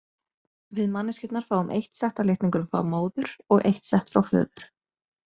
Við manneskjurnar fáum eitt sett af litningum frá móður og eitt sett frá föður.